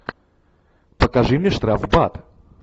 покажи мне штрафбат